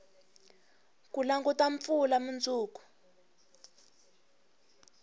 ku languta mpfula munduku